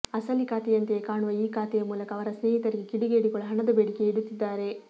ಅಸಲಿ ಖಾತೆಯಂತೆಯೇ ಕಾಣುವ ಈ ಖಾತೆಯ ಮೂಲಕ ಅವರ ಸ್ನೇಹಿತರಿಗೆ ಕಿಡಿಗೇಡಿಗಳು ಹಣದ ಬೇಡಿಕೆ ಇಡುತ್ತಿದ್ದಾರೆ